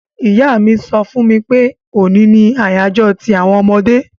Ìyá mi so fún mi pe òní ni àyájó ti àwon ọmọdé